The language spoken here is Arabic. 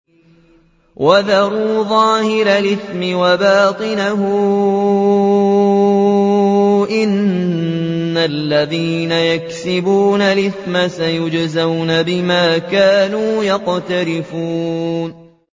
وَذَرُوا ظَاهِرَ الْإِثْمِ وَبَاطِنَهُ ۚ إِنَّ الَّذِينَ يَكْسِبُونَ الْإِثْمَ سَيُجْزَوْنَ بِمَا كَانُوا يَقْتَرِفُونَ